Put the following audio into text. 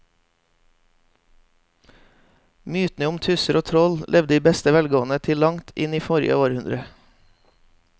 Mytene om tusser og troll levde i beste velgående til langt inn i forrige århundre.